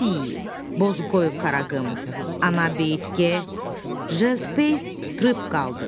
Biz Bozqoy, Qaraqım, Anabeyt G, Jeltbey Trip Qaldıq.